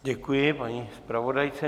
Děkuji paní zpravodajce.